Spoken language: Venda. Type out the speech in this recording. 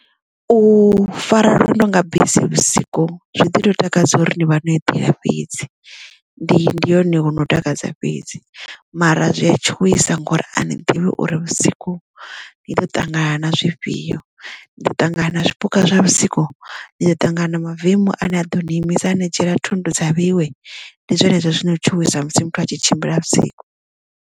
U fara lwendo nga bisi vhusiku zwi ḓi to takadza uri ni vha no eḓela fhedzi ndi ndi hone ho no takadza fhedzi mara zwi a tshuwisa ngori a ni ḓivhi uri vhusiku ni ḓo ṱangana na zwifhio nido ṱangana na zwipuka zwa vhusiku ni ḓo ṱangana na mavemu ane a ḓo ni imisa ani dzhiela thundu dza vheiwe ndi zwone zwa zwino tshuwisa musi muthu a tshi tshimbila vhusiku.